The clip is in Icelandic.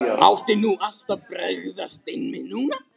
Átti nú allt að bregðast, einmitt núna?